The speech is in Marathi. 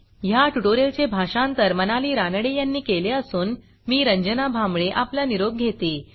ह्या ट्युटोरियलचे भाषांतर मनाली रानडे यांनी केले असून मी रंजना भांबळे आपला निरोप घेते160